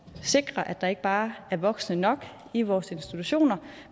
sikre at der ikke bare er voksne nok i vores institutioner